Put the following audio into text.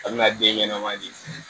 A bɛna den ɲɛnɛman di